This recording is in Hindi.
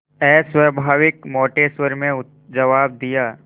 अस्वाभाविक मोटे स्वर में जवाब दिया